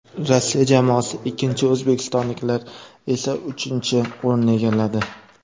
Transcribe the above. Rossiya jamoasi ikkinchi, o‘zbekistonliklar esa uchinchi o‘rinni egalladi.